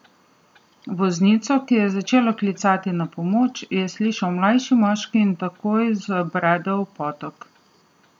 Voznico, ki je začela klicati na pomoč, je slišal mlajši moški in takoj zabredel v potok.